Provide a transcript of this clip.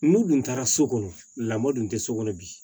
N'u dun taara so kɔnɔ lamɔ tun tɛ so kɔnɔ bi